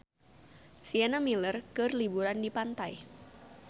Sienna Miller keur liburan di pantai